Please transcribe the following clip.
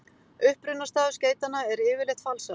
Upprunastaður skeytanna er yfirleitt falsaður.